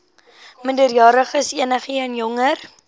minderjariges enigeen jonger